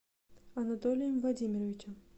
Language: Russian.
анатолием владимировичем